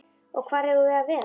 Og hvar eigum við að vera?